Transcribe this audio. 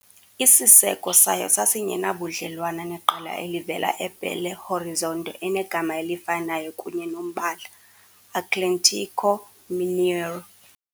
Isiseko sayo sasingenabudlelwane neqela elivela eBelo Horizonte enegama elifanayo kunye nombala, Atlético Mineiro.